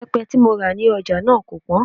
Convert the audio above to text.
Ìbẹ́pẹ tí mo rà ní ọjà náà kò pọ́n